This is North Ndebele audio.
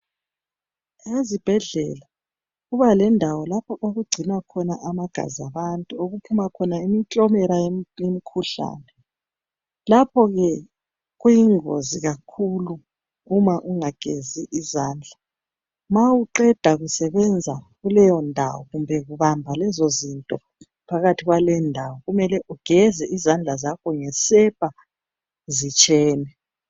Ezibhedlela kuba lendawo lapho okugcinwa amagazi abantu okuphima imiklomela yemikhuhlane lapho ke kuyingozi kakhulu uma ungagezi izandla ma uqeda kusebenza kuleyo ndawo kumbe kubamba lezo zinto phakathi kwaleyo ndawo kumele ugeze izandla zakho ngesepa zitshene.